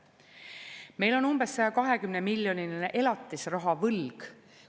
Meil on umbes 120-miljoniline elatisrahavõlg.